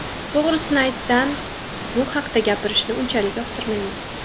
To‘g‘risini aytsam, bu haqda gapirishni unchalik yoqtirmayman.